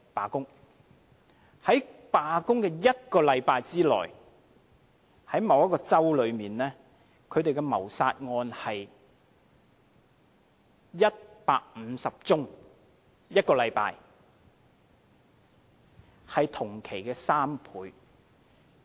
在警察罷工的1個星期內，某個州的謀殺案有150宗——在1個星期內——是同期的3倍。